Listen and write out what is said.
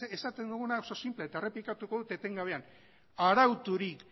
esaten duguna da oso sinplea da eta errepikatuko dut etengabean arauturik